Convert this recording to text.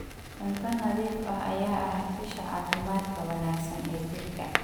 Cunto nadiif ah ayaa ah isha caafimaadka wanaagsan ee jirka.